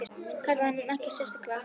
kallaði hann en ekkert sérlega hátt.